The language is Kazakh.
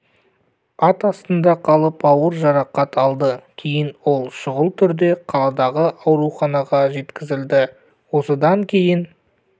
ат астында қалып ауыр жарақат алды кейін ол шұғыл түрде қаладағы ауруханаға жеткізілді осыдан кейін